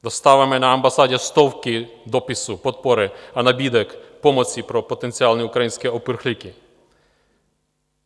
Dostáváme na ambasádě stovky dopisů podpory a nabídek pomoci pro potenciální ukrajinské uprchlíky.